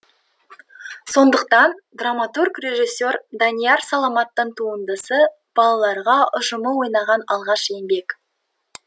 сондықтан драматург режиссер данияр саламаттың туындысы балалар ұжымы ойнаған алғашқы еңбек